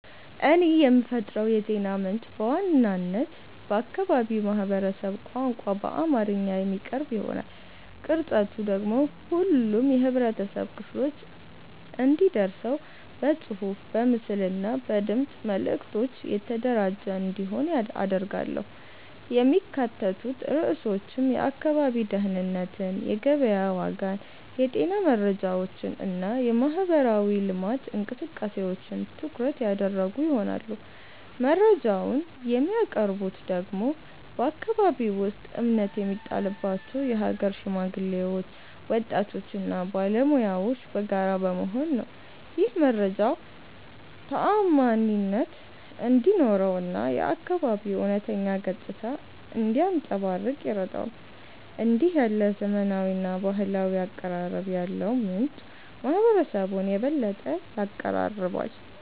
እኔ የምፈጥረው የዜና ምንጭ በዋናነት በአካባቢው ማህበረሰብ ቋንቋ በአማርኛ የሚቀርብ ይሆናል። ቅርጸቱ ደግሞ ሁሉም የህብረተሰብ ክፍሎች እንዲደርሰው በጽሑፍ፣ በምስል እና በድምፅ መልዕክቶች የተደራጀ እንዲሆን አደርጋለሁ። የሚካተቱት ርዕሶችም የአካባቢ ደህንነትን፣ የገበያ ዋጋን፣ የጤና መረጃዎችን እና የማህበራዊ ልማት እንቅስቃሴዎችን ትኩረት ያደረጉ ይሆናሉ። መረጃውን የሚያቀርቡት ደግሞ በአከባቢው ውስጥ እምነት የሚጣልባቸው የሀገር ሽማግሌዎች፣ ወጣቶች እና ባለሙያዎች በጋራ በመሆን ነው። ይህም መረጃው ተዓማኒነት እንዲኖረው እና የአካባቢው እውነተኛ ገጽታ እንዲያንጸባርቅ ይረዳዋል። እንዲህ ያለ ዘመናዊና ባህላዊ አቀራረብ ያለው ምንጭ ማህበረሰቡን የበለጠ ያቀራርባል።